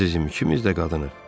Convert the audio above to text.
Əzizim ikimiz də qadınıq.